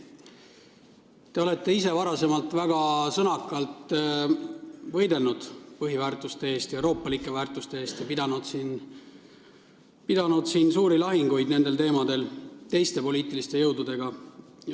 Te olete ise varem väga sõnakalt võidelnud põhiväärtuste, euroopalike väärtuste eest ja pidanud siin nendel teemadel suuri lahinguid teiste poliitiliste jõududega.